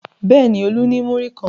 Bẹ́ẹ̀ ni, Olú ní múrí kan.